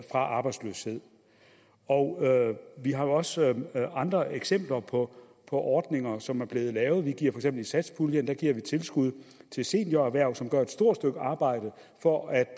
arbejdsløshed og vi har jo også andre eksempler på ordninger som er blevet lavet gennem satspuljen giver vi tilskud til senior erhverv som gør et stort stykke arbejde for at